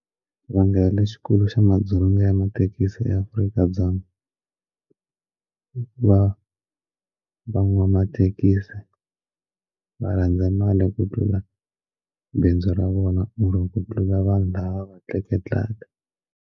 Xivangelo lexikulu xa madzolonga ya mathekisi eAfrika-Dzonga va van'wamathekisi va rhandza mali hi ku tlula bindzu ra vona or ku tlula vanhu lava va tleketlaka.